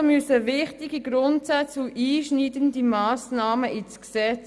Also müssen wichtige Grundsätze und einschneidende Massnahmen ins Gesetz.